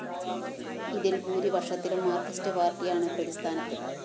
ഇതില്‍ ബഹുഭൂരിപക്ഷത്തിലും മാര്‍കിസ്റ്റ് പാര്‍ട്ടിയാണ് പ്രതിസ്ഥാനത്ത്